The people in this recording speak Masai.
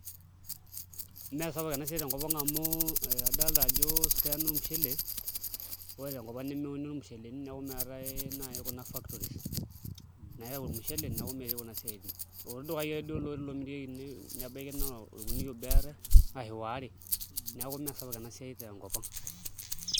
Mmee sapuk enasiai tenkop ang amu adolta ajo ore ena naa ormushele, ore tenkopang nemeuni ormusheleni niaku meetae nai kuna factories nayau ormushele niaku meetae kuna siatin kuti dukai ake duo lomirieki nebaiki naa orkunia obo eetae ashu waare niaku meesapuk enasiai tenkopang.